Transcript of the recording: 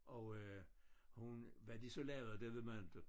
Og øh hun hvad de så lavede det ved man inte